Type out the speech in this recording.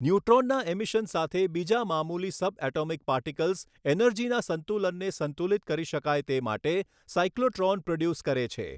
ન્યુટ્રોનના emission સાથે બીજા મામૂલી સબએટોમિક પાર્ટિકલ્સ એનર્જીના સંતુલનને સંતુલિત કરી શકાય તે માટે સાયક્લોટ્રોન પ્રોડ્યુસ કરે છે.